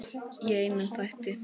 Í einum þætti!